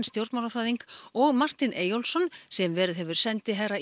stjórnmálafræðing og Martin Eyjólfsson sem verið hefur sendiherra